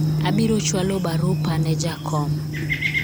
abiro chwako barupa ne jakom